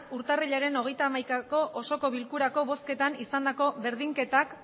urtarrilaren hogeita hamaikako osoko bilkurako bozketan izandako berdinketak